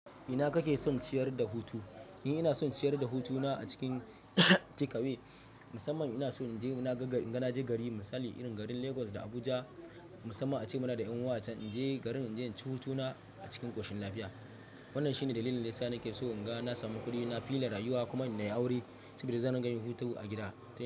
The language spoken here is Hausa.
Ina kake son ciyar da hutu? Ni ina son ciyar da hutuna a cikin takeaway, musamman ina so in je ina na ga, inga na je gari misali irin garin Lagos da Abuja musamman a ce muna da ƴan uwa acan in je garin in je in ci hutuna a cikin ƙoshin lafiya. Wannan shi ne dalilin dayasa, nake so in ga, na sami kuɗi na, fila rayuwa kuma na yi aure saboda zan dinga yin hutu a gida.